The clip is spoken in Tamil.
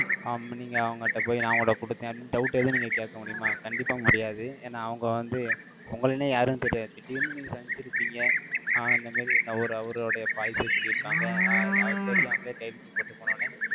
ஆமா, நீங்க அவங்க கிட்ட போய், நான் உங்கிட்ட கொடுத்தேன். அப்படின்னு doubt ஏதும் நீங்க கேட்க முடியுமா? கண்டிப்பா முடியாது. ஏன்னா, அவங்க வந்து, உங்களைன்னே யாருன்னு தெரியாது. திடீர்ன்னு நீ சந்திச்சு இருப்பீங்க. ஆஹ் இந்த மாதிரி, அவரு~ அவருடைய policy ய சொல்லி இருக்காங்க, அ~அது தெரியாமலே கையெழுத்து போட்டு போனவுடனே,